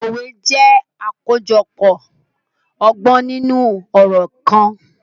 Òwè jẹ̀ akojọpọ ọgbọn ninu ọrọ kan.